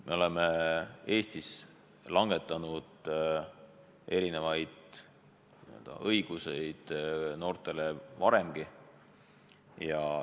Me oleme Eestis andnud mitmesuguseid õigusi noortele varemgi.